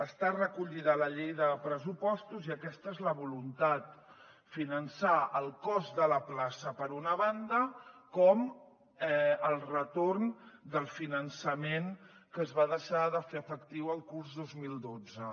està recollida a la llei de pressupostos i aquesta és la voluntat finançar tant el cost de la plaça per una banda com el retorn del finançament que es va deixar de fer efectiu el curs dos mil dotze